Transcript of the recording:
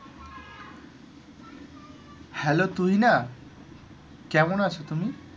hello Tuhina কেমন আছো তুমি?